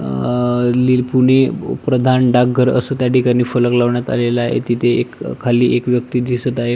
अं पुणे प्रधान डाक घर असं त्या ठिकाणी फलक लावण्यात आलेला आहे तिथे खाली एक व्यक्ती दिसत आहे.